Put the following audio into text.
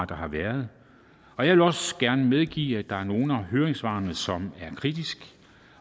der har været og jeg vil også gerne medgive at der er nogle af høringssvarene som er kritiske